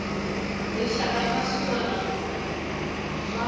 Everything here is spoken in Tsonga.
rixaka na swiana wana swa